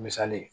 Misali ye